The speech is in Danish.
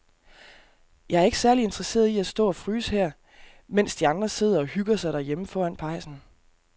Jeg er ikke særlig interesseret i at stå og fryse her, mens de andre sidder og hygger sig derhjemme foran pejsen.